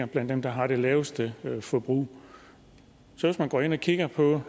blandt dem der har det laveste forbrug hvis man går ind og kigger på